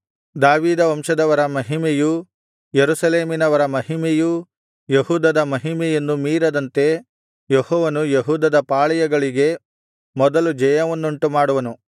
ದಾವೀದ ವಂಶದವರ ಮಹಿಮೆಯೂ ಯೆರೂಸಲೇಮಿನವರ ಮಹಿಮೆಯೂ ಯೆಹೂದದ ಮಹಿಮೆಯನ್ನು ಮೀರದಂತೆ ಯೆಹೋವನು ಯೆಹೂದದ ಪಾಳೆಯಗಳಿಗೆ ಮೊದಲು ಜಯವನ್ನುಂಟುಮಾಡುವನು